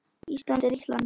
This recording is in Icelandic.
Ísland er ríkt land.